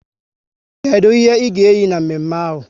Kedụ ihe ị ga eyi na mme mme ahụ?